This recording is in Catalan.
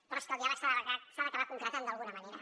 però és que el diàleg s’ha d’acabar concretant d’alguna manera